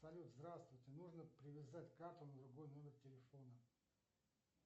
салют здравствуйте нужно привязать карту на другой номер телефона